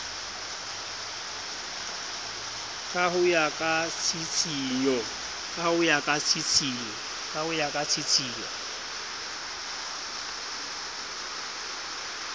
ka ho ya ka tshitshinyo